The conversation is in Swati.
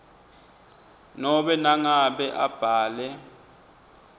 nobe nangabe abhale